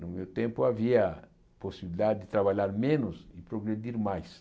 No meu tempo havia a possibilidade de trabalhar menos e progredir mais.